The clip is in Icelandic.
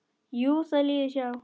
Jú, það líður hjá.